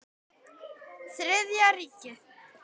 Þriðja ríkið.